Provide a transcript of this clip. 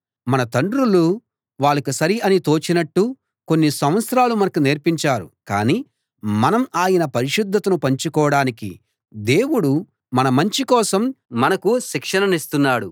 మన తండ్రులు వాళ్లకి సరి అని తోచినట్టు కొన్ని సంవత్సరాలు మనకు నేర్పించారు కాని మనం ఆయన పరిశుద్ధతను పంచుకోడానికి దేవుడు మన మంచి కోసం మనకు శిక్షణనిస్తున్నాడు